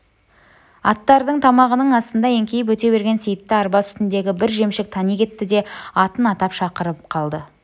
аттардың тамағының астынан еңкейіп өте берген сейітті арба үстіндегі бір жемшік тани кетті де атын атап шақырып қалды